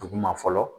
Duguma fɔlɔ